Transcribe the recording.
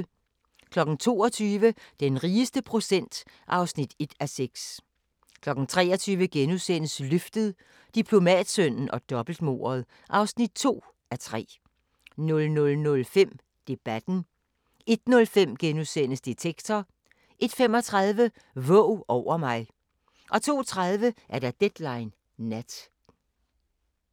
22:00: Den rigeste procent (1:6) 23:00: Løftet - Diplomatsønnen og dobbeltmordet (2:3)* 00:05: Debatten * 01:05: Detektor * 01:35: Våg over mig 02:30: Deadline Nat